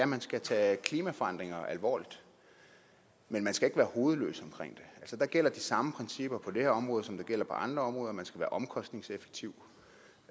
man skal tage klimaforandringer alvorligt men man skal ikke være hovedløs omkring det der gælder de samme principper på det her område som der gælder på andre områder nemlig at man skal være omkostningseffektiv